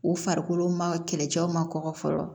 U farikolo ma kɛlɛcɛw ma kɔkɔ fɔlɔ